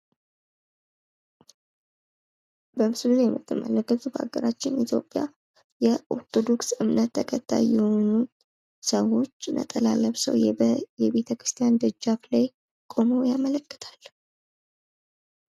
በምስሉ ላይ የሞትመለከቱት ሀገራችን ኢትዮፕያ የአርቶዳክስ ደጀፋ ላይ ቁመው ያመልከታል::